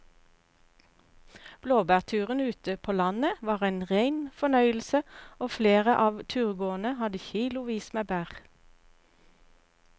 Blåbærturen ute på landet var en rein fornøyelse og flere av turgåerene hadde kilosvis med bær.